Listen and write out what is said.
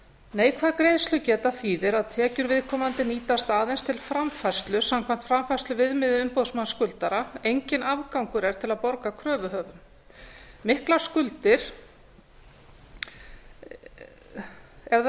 neikvæð greiðslugeta þýðir að tekjur viðkomandi nýtast aðeins til framfærslu samkvæmt framfærsluviðmiði umboðsmanns skuldara enginn afgangur er til að borga kröfuhöfum